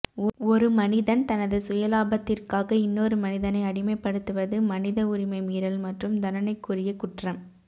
ஒரு மனிதன் தனது சுயலாபத்திற்காக இன்னொரு மனிதனை அடிமைப்படுத்துவது மனித உரிமை மீறல் மற்றும் தண்டனைக்குரிய குற்றம்